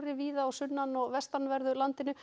víða á sunnan og vestanverðu landinu